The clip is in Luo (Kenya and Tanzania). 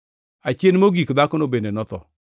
Achien mogik dhakono bende notho.